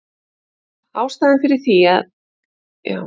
Ástæðan fyrir því er að egg innihalda mikið af kólesteróli.